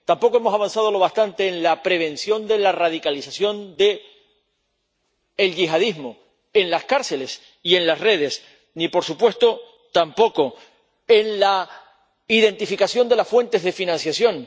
Tampoco hemos avanzado bastante en la prevención de la radicalización del yihadismo en las cárceles y en las redes ni, por supuesto, en la identificación de las fuentes de financiación.